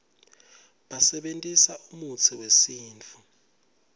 basebentisa umutsi wesintfu